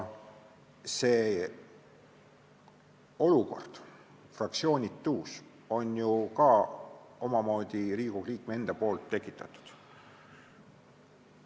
See olukord, fraktsioonitus, on ju omamoodi Riigikogu liikme enda tekitatud.